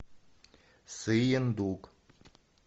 сыендук